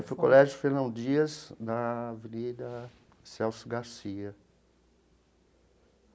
Foi o Colégio Fernão Dias, na Avenida Celso Garcia.